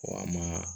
Wa an ma